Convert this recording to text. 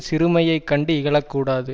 சிறுமையைக்கண்டு இகழக் கூடாது